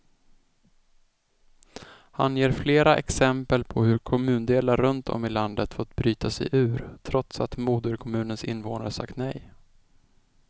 Han ger flera exempel på hur kommundelar runt om i landet fått bryta sig ur, trots att moderkommunens invånare sagt nej.